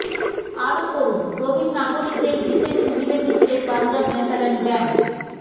আরও পড়ুন প্রবীণ নাগরিকদের বিশেষ সুবিধে দিচ্ছে পাঞ্জাব ন্যাশানাল ব্যাঙ্ক